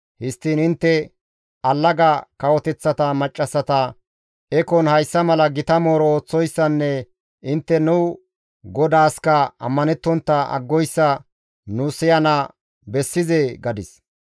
Histtiin intte allaga kawoteththa maccassata ekon hayssa mala gita mooro ooththoyssanne intte nu Godaaska ammanettontta aggoyssa nu siyana bessizee?» gadis.